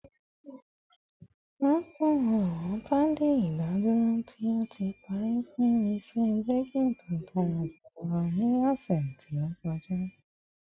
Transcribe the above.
Rọpo awọn paadi idaduro ti o ti pari fun iṣẹ braking to dara julọ ni ọsẹ to kọja